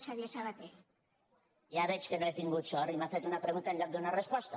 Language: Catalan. ja veig que no he tingut sort i que m’ha fet una pregunta en lloc d’una resposta